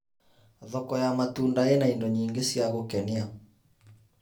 Thoko ya matunda ĩna indo nyingĩ cia gũkenia.